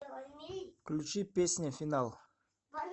включи песня финал